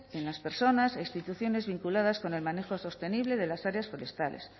en las personas e instituciones vinculadas con el manejo sostenible de las áreas forestales